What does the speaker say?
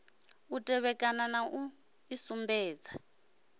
u tevhekana na u isumbedza